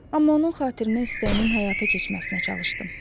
Amma onun xatirinə istəyinin həyata keçməsinə çalışdım.